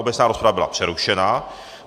Obecná rozprava byla přerušena.